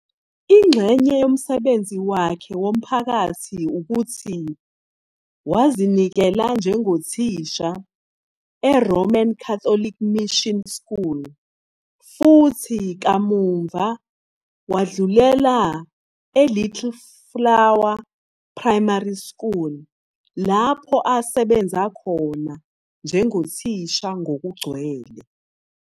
Ingxenye yomsebenzi wakhe womphakathi ukuthi wazinikela njengothisha eRoman Catholic Mission School futhi kamuva wadlulela eLittle Flower Primary School, lapho asebenza khona njengothisha ngokugcwele.